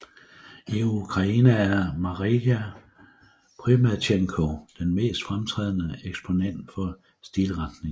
I Ukraine er Marija Prymatjenko den mest fremtrædende eksponent for stilretningen